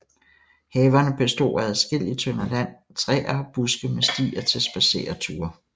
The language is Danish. Haverne bestod af adskillige tønder land træer og buske med stier til spadsereture